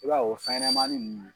b'a ye o fɛnɲɛnɛmanin ninnu.